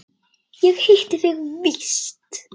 Ég hitti þig víst!